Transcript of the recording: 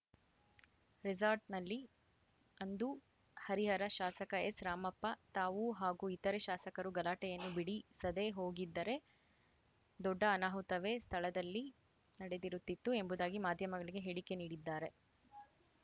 ರೆಸಾಟ್‌ನಲ್ಲಿ ಅಂದು ಹರಿಹರ ಶಾಸಕ ಎಸ್‌ರಾಮಪ್ಪ ತಾವೂ ಹಾಗೂ ಇತರೆ ಶಾಸಕರು ಗಲಾಟೆಯನ್ನು ಬಿಡಿ ಸದೇ ಹೋಗಿದ್ದರೆ ದೊಡ್ಡ ಅನಾಹುತವೇ ಸ್ಥಳದಲ್ಲಿ ನಡೆದಿರುತ್ತಿತ್ತು ಎಂಬುದಾಗಿ ಮಾಧ್ಯಮಗಳಿಗೆ ಹೇಳಿಕೆ ನೀಡಿದ್ದಾರೆ